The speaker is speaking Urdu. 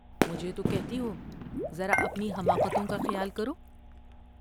مجھے تو کہتی ہوذ را اپنی حماقتوں کا خیال کرو ''